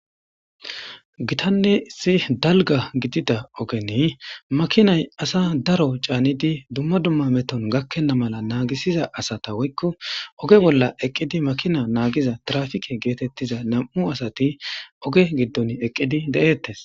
gitanne issi dalga gidida ogeni makinay asa daro caanidi dumma dumma meton gakkenna mala naagisiza asata woykko oge bolla eqqidi makina naagiza trafike geetettiza nam7u asati oge giddon eqqidi de7ettes